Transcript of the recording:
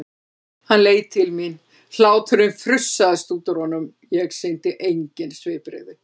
Hann leit til mín, hláturinn frussaðist út úr honum, ég sýndi engin svipbrigði.